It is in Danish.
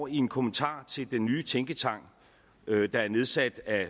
i en kommentar til den nye tænketank der er nedsat af